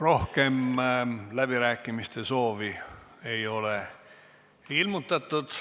Rohkem läbirääkimiste soovi ei ole ilmutatud.